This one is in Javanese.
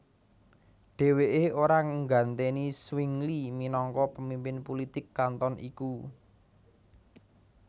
Déwéké ora nggantèni Zwingli minangka pemimpin pulitik kanton iku